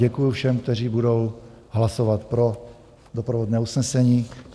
Děkuju všem, kteří budou hlasovat pro doprovodné usnesení.